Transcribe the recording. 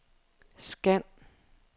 scan